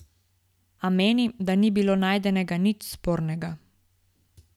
A meni, da ni bilo najdenega nič spornega.